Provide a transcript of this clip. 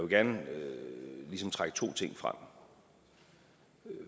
gerne ligesom trække to ting frem